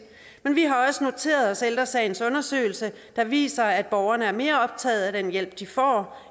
men vi har også noteret os ældre sagens undersøgelse der viser at borgerne er mere optaget af den hjælp de får